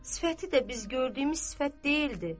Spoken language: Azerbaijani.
Sifəti də biz gördüyümüz sifət deyildi.